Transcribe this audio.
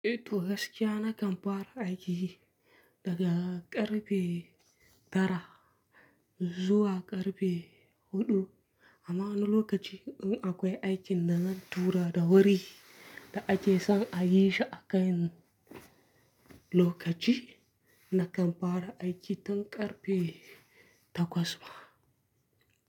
Eh toh gaskiya na kan fara aiki daga ƙarfe tara zuwa ƙarfe huɗu amma wani lokacin in akwai aikin da zan tura da wuri da ake son a yi shi a kai lokaci, na kan fara aiki tun ƙarfe takwas ma.